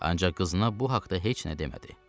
Ancaq qızına bu haqda heç nə demədi.